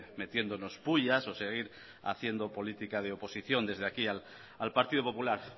metiéndonos puyas o seguir haciendo política de oposición desde aquí al partido popular